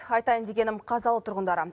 айтайын дегенім қазалы тұрғындары